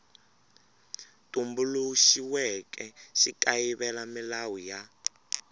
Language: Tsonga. tumbuluxiweke xi kayivela milawu ya